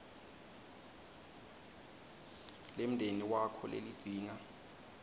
lemndeni wakho lelidzinga